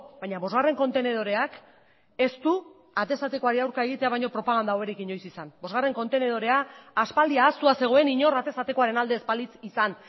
baina bosgarren kontenedoreak ez du atez atekoari aurka egitea baina propaganda hoberik inoiz izan bosgarren kontenedorea aspaldi ahaztua zegoen inor atez atekoaren alde ez balitz izan